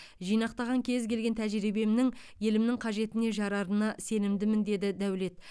жинақтаған кез келген тәжірибемнің елімнің қажетіне жарарына сенімдімін деді дәулет